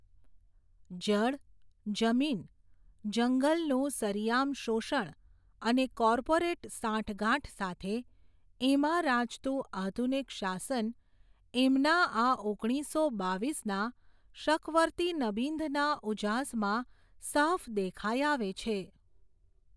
જળ, જમીન, જંગલનું સરિયામ શોષણ, અને કોર્પોરેટ સાંઠગાંઠ સાથે, એમાં રાચતું આધુનિક શાસન, એમના આ, ઓગણીસો બાવીસ ના, શકવર્તી નબિંધના ઉજાસમાં, સાફ દેખાઈ આવે છે.